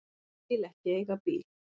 Vil ekki eiga bíl.